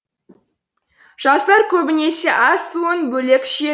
жастар көбінесе ас суын бөлек ішеді